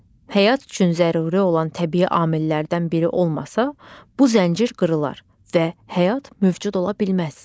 Həyat üçün zəruri olan təbii amillərdən biri olmasa, bu zəncir qırılar və həyat mövcud ola bilməz.